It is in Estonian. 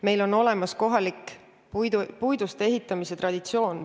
Meil on olemas kohalik puidust ehitamise traditsioon.